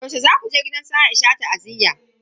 Yaushe zaku je gidan su Aisha ta'aziyya?